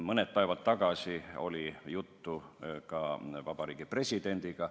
Mõni päev tagasi oli juttu ka meie presidendiga.